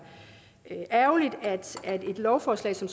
ærgerligt at et lovforslag som